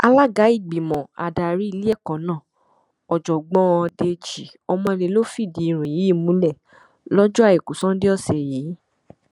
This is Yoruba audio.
alága ìgbìmọ adarí iléẹkọ náà ọjọgbọn dèjì ọmọlé ló fìdí ìròyìn yìí múlẹ lọjọ àìkú sannda ọsẹ yìí